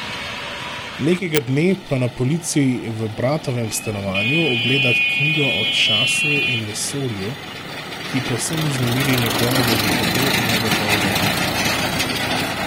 Nekega dne pa na polici v bratovem stanovanju ugleda knjigo o času in vesolju, ki povsem vznemiri njegovega že tako negotovega duha.